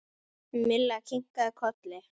Milla kinkaði kolli.